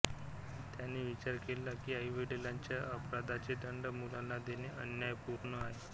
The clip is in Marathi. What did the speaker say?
त्यांनी विचार केला की आईवडिलांच्या अपराधाचे दंड मुलांना देणे अन्याय पूर्ण आहे